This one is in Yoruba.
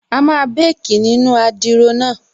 A máa békì nínu adiro náà